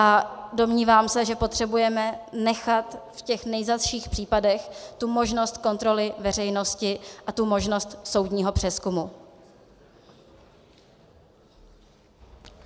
A domnívám se, že potřebujeme nechat v těch nejzazších případech tu možnost kontroly veřejnosti a tu možnost soudního přezkumu.